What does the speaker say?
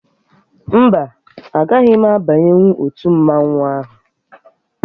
Mba, agaghị m abanyenwu otu mmanwụ ahụ